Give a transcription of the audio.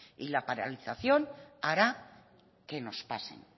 y la paralización hará que nos pasen